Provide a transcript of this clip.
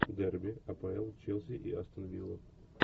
дерби апл челси и астон вилла